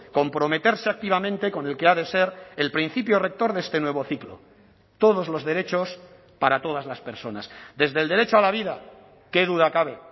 comprometerse activamente con el que ha de ser el principio rector de este nuevo ciclo todos los derechos para todas las personas desde el derecho a la vida qué duda cabe